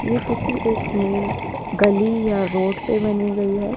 ये किसी एक मेन गली या रोड पे बनी गई है।